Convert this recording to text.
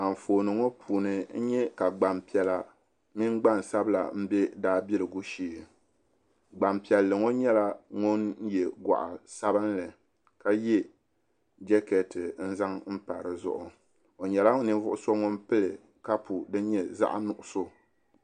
Anfooni ŋɔ puuni n nye ka gbanpiɛla mini gbansabila n bɛ daabiligu shee gbanpiɛlli ŋɔ nyɛla ŋun ye gɔɣu sabinli ka ye jakɛɛti n zaŋ pa di zuɣu o nyɛla ninvuɣu so ŋun pili kapu din nye zaa nuɣsu.